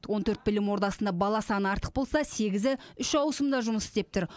он төрт білім ордасында бала саны артық болса сегізі үш ауысымда жұмыс істеп тұр